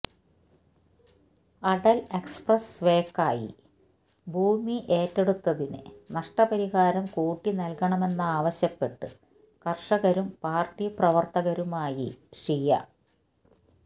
Atal express വേക്കായി ഭൂമി ഏറ്റെടുത്തതിന് നഷ്ടപരിഹാരം കൂട്ടി നൽകണമെന്നാവശ്യപ്പെട്ട് കർഷകരും പാർട്ടി പ്രവർത്തകരുമായി ഷിയ